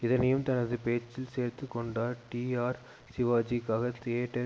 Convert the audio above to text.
இதனையும் தனது பேச்சில் சேர்த்து கொண்டார் டிஆர் சிவாஜி க்காக தியேட்டர்